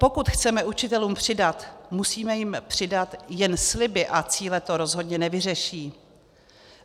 Pokud chceme učitelům přidat, musíme jim přidat, jen sliby a cíle to rozhodně nevyřeší.